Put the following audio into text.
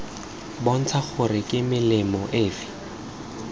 bontsha gore ke melemo efe